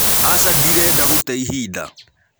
Aca ndĩrenda gũte ĩhĩnda.